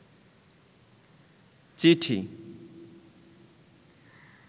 চিঠি